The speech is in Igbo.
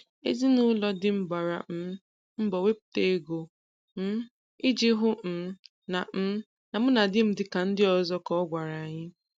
"Ezinụlọ di m gbara um mbọ wepụta ego, um I ji hụ um na um na mụ na di m dị ka ndị ọzọ " ka ọ gwara anyị.